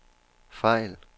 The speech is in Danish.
fejl